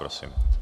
Prosím.